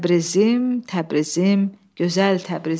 Təbrizim, Təbrizim, gözəl Təbrizim!